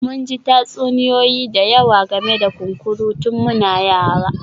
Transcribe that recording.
Mun ji tatsuniyoyi da yawa game da kunkuru tun muna yara